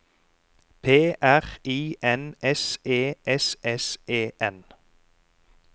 P R I N S E S S E N